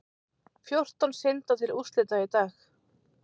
Fjórtán synda til úrslita í dag